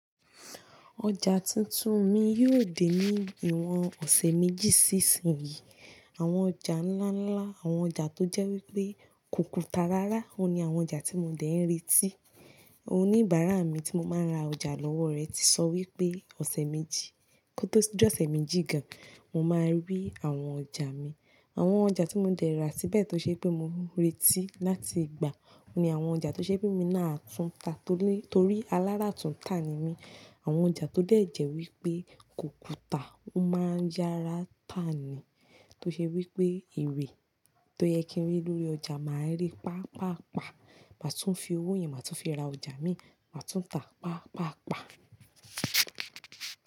Ọjà tuntun mi yóò dé ní ìwọ̀n ọ̀sẹ̀ méjì sí ìsinyìí. Àwọn ọjà ńláńlá, àwọn ọjà tó jẹ́ wípé kùkù ta rárá, òun ni àwọn ọjà tí mo dẹ̀ ń retí. Oníbàárà mi tí mo máa ń ra ọjà lọ́wọ́ rẹ̀ ti sọ wípé ọ̀sẹ̀ méjì, kó tó jọ́ ọ̀sẹ̀ méjì gan, mo máa rí àwọn ọjà mi. Àwọn ọjà tí mo dẹ̀ ra síbẹ̀ tó ṣe pé mo ń retí láti gbà, òun ni àwọn ọjà tó ṣe pé mi náà tún ta tóri, torí alára tún ta ni mí. Àwọn ọjà tó dẹ̀ jẹ́ wípé kokù ta, ó máa ń yára tà ni. Tó ṣe wípé ere tó yẹ kí n rí lórí ọjà máa ń rí paapaa. Má tún fi owó yẹn, mà tún fi ra ọjà mi, mà tún tà paapaa.